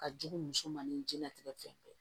Ka jugu muso ma ni diɲɛlatigɛ fɛn bɛɛ ye